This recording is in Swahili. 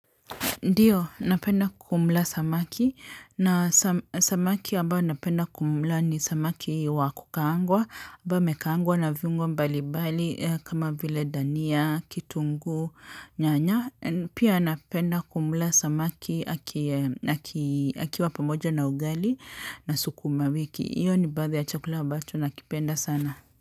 Ndio, napenda kumula samaki na samaki ambao napenda kumula ni samaki wakukaangwa, ambaye amekaangwa na viungwo mbali mbali kama vile dania, kitunguu, nyanya, pia napenda kumula samaki akiwa pamoja na ugali na sukuma wiki. Hiyo ni baadhi ya chakula ambacho na kipenda sana.